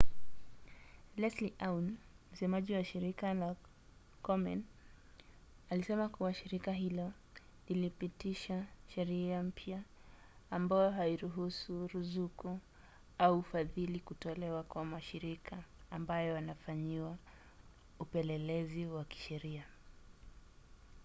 leslie aun msemaji wa shirika la komen alisema kuwa shirika hilo lilipitisha sheria mpya ambayo hairuhusu ruzuku au ufadhili kutolewa kwa mashirika ambayo yanafanyiwa upelelezi wa kisheria